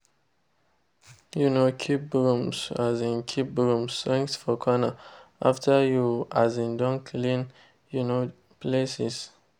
um keep brooms um keep brooms strength for corner after you um don clean de um places.